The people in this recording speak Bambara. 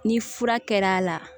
Ni fura kɛra a la